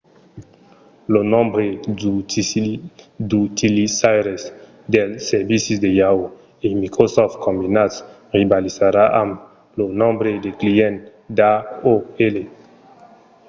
lo nombre d'utilizaires dels servicis de yahoo! e microsoft combinats rivalizarà amb lo nombre de clients d'aol